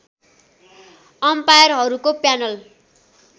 अम्पायरहरूको panel